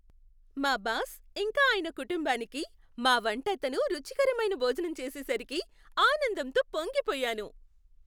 మా బాస్, ఇంకా ఆయన కుటుంబానికి మా వంట అతను రుచికరమైన భోజనం చేసేసరికి ఆనందంతో పొంగిపోయాను.